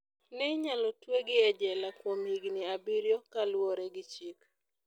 Ne inyalo twegi e jela kuom higini abiriyo" kaluore gi chik.